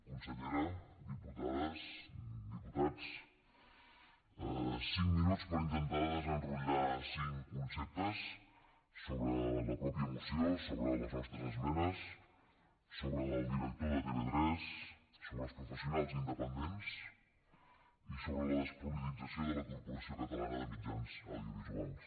consellera diputades diputats cinc minuts per intentar desenrotllar cinc conceptes sobre la mateixa moció sobre les nostres esmenes sobre el director de tv3 sobre els professionals independents i sobre la despolitització de la corporació catalana de mitjans audiovisuals